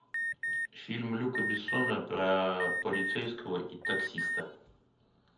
фильм люка бессона про полицейского и таксиста